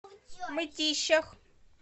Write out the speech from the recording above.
мытищах